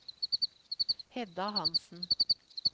Hedda Hansen